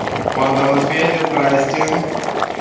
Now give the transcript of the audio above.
панда на связи здравствуйте